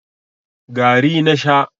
gari na Sha